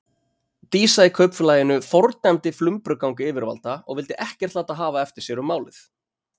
Dísa í Kaupfélaginu fordæmdi flumbrugang yfirvalda og vildi ekkert láta hafa eftir sér um málið.